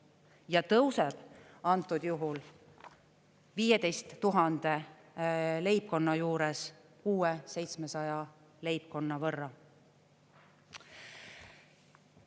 Ja see tõuseb antud juhul 15 000 leibkonna juures uue 700 leibkonna võrra.